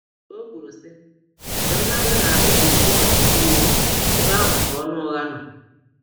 O kwuru sị, mgbe mmadụ na ekpuchi ọchịchọ iwe, ebe ahụ ka ọnụ ụgha nọ.